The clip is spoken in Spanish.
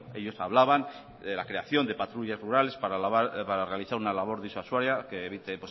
ellos hablaban de la creación de patrullas rurales para realizar una labor disuasoria que evite